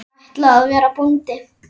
Ég ætla að verða bóndi